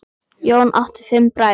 Jón átti fimm bræður.